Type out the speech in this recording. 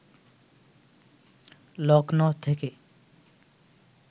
লক্ষ্ণৌ থেকে